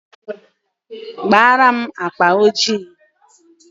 Kpaara m akpa ojii.